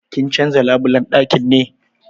Kin canza labulan dakin ki ne?